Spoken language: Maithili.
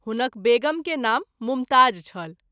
हुनक वेगम के नाम मुमताज़ छल।